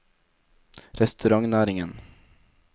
restaurantnæringen